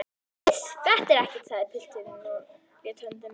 Iss, þetta er ekkert, sagði pilturinn og lét höndina liggja.